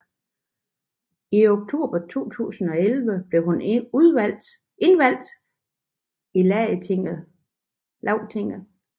I oktober 2011 blev hun indvalgt i Lagtinget